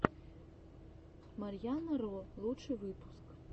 марьяна ро лучший выпуск